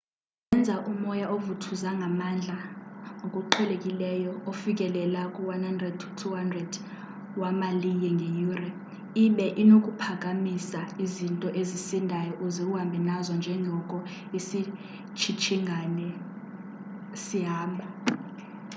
zenza umoya ovuthuza ngamandla ngokuqhelekileyo ofikelela ku-100-200 wemaliye ngeyure ibe unokuphakamisa izinto ezisindayo uze uhambe nazo njengoko isitshingitshane sihamba